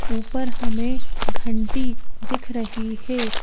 ऊपर हमें घंटी दिख रही है।